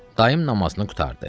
Dayım namazını qurtardı.